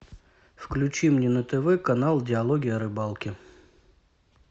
включи мне на тв канал диалоги о рыбалке